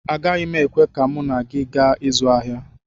Agaghị m ekwe ka mụ na gị gaa ịzụ ahịa